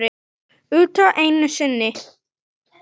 Utan einu sinni.